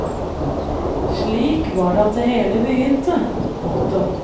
Slik var det at det hele begynte. punktum